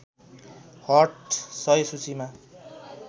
hot १०० सूचीमा